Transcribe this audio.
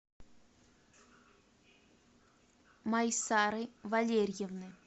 майсары валерьевны